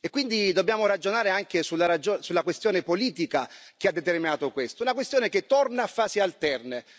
Quindi dobbiamo ragionare anche sulla questione politica che ha determinato questo, una questione che torna a fasi alterne.